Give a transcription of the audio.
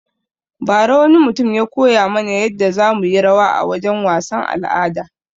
Ba ra wani mutum ya koya mana yadda za muyi rawa a wajen wasan al'ada